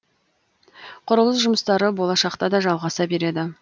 құрылыс жұмыстары болашақта да жалғаса береді